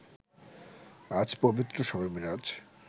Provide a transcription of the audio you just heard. আজ পবিত্র শবে মিরাজ